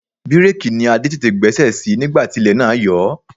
Bireeki ni Adé tètè gbẹ́sẹ̀ sí nígbà tí ilẹ̀ náà yọ ọ́.